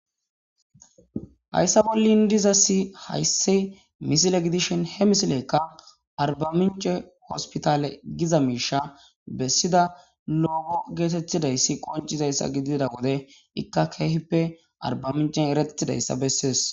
Hayssa bolli dizassi hayssi misile gidishin he misilekka arbamincce hospithaale giza miishsha bessida looho geetheththidayssi qonccizayssi gidida wode ikka keehippe arbbaaminccen ereththida isa bessees.